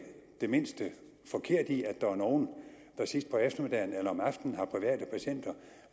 det mindste forkerte i at der er nogle der sidst på eftermiddagen eller om aftenen har private patienter